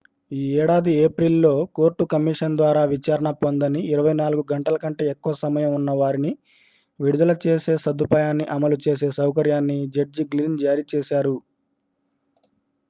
ఈ ఏడాది ఏప్రిల్ లో కోర్టు కమిషనర్ ద్వారా విచారణ పొందని 24 గంటల కంటే ఎక్కువ సమయం ఉన్న వారిని విడుదల చేసే సదుపాయాన్ని అమలు చేసే సౌకర్యాన్ని జడ్జి గ్లిన్ జారీ చేశారు